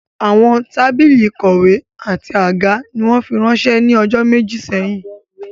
Àwọn tábìlì ìkọ̀wé àti àga ni wọ́n fi ránsẹ́ ní ọjọ́ méjì sẹ́yìn